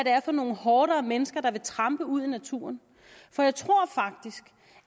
er for nogle horder af mennesker der vil trampe ud i naturen for jeg tror faktisk